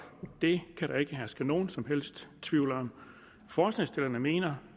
det kan der ikke herske nogen som helst tvivl om forslagsstillerne mener